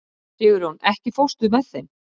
Sigurjón, ekki fórstu með þeim?